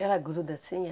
Ela gruda assim?